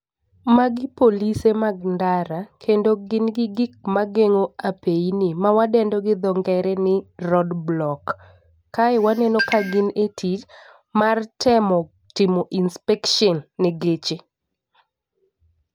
Magi polise mag ndara kendo gin gi gik mageng'o apeini ma wadendo gi dho ngere ni road block . Kae waneo ka gin e tich mar temo timo inspection ne geche.